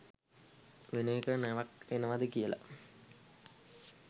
වෙන එක නැවක් එනවද කියලා